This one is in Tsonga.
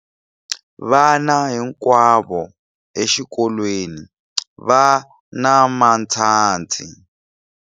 Vana hinkwavo exikolweni va na matshansi.